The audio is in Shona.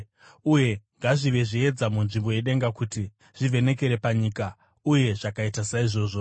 uye ngazvive zviedza munzvimbo yedenga kuti zvivhenekere panyika.” Uye zvakaita saizvozvo.